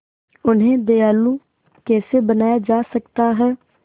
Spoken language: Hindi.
उन्हें दयालु कैसे बनाया जा सकता है